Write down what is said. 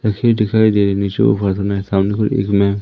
दिखाई दे रही सामने इसमें--